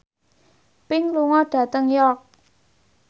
Pink lunga dhateng York